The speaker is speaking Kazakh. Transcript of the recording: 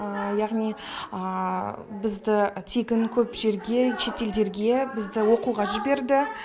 яғни бізді тегін көп жерге шет елдерге бізді оқуға жіберді